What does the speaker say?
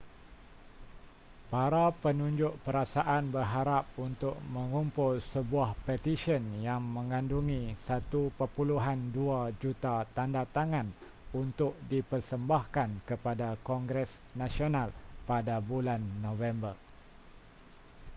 para penunjuk perasaan berharap untuk mengumpul sebuah petisyen yang mengandungi 1.2 juta tandatangan untuk dipersembahkan kepada kongres nasional pada bulan november